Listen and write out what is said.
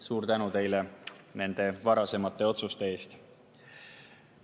Suur tänu teile nende varasemate otsuste eest!